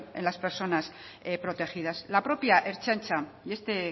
en la personas protegidas la propia ertzaintza y este